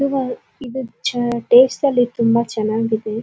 ಇದು ಟೇಸ್ಟ್ ಅಲ್ಲಿ ತುಂಬ ಚೆನ್ನಾಗಿದೆ.